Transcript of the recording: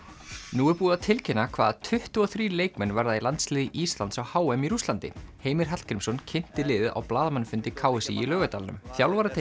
nú er búið að tilkynna hvaða tuttugu og þrír leikmenn verða í landsliði Íslands á h m í Rússlandi Heimir Hallgrímsson kynnti liðið á blaðamannafundi k s í í Laugardalnum